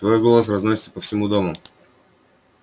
твой голос разносится по всему дому